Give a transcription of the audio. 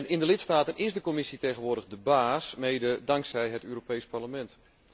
In de lidstaten is de Commissie tegenwoordig de baas, mede dankzij het Europees Parlement.